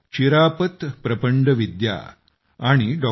चिरापत प्रपंडविद्या आणि डॉ